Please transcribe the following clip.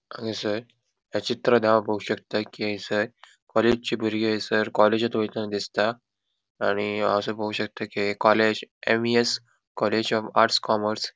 हंगसर या चित्रांत हाव पोउ शकता कि हैसर कॉलेजची बुरगी एसर कॉलेज वएतान दिसता आणि हंगसर पोउ शकता कि college M E S college of arts commerce --